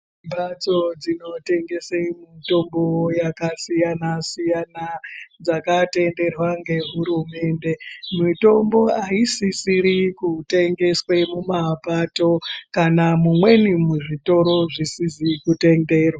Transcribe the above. Mbatso dzinotengese mitombo yakasiyana siyana dzakatenderwa ngeHurumende. Mitombo aisisiri kutengeswe mumapato kana mumweni muzvitoro zvisizi kutenderwa.